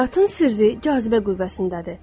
Həyatın sirri cazibə qüvvəsindədir.